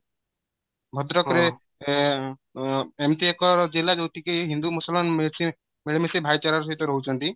ଭଦ୍ରକ ରେ ଏଁ ଏଁ ଏମିତି ଏକ ଜିଲ୍ଲା ଯୋଉଠି କି ହିନ୍ଦୁ ମୁସଲମାନ ମିଳି ମିଶି ଭାଇ ଚାରା ର ସହିତ ରହୁଚନ୍ତି